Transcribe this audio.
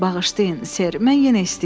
Bağışlayın Ser, mən yenə istəyirəm.